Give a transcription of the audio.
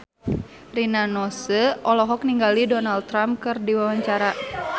Rina Nose olohok ningali Donald Trump keur diwawancara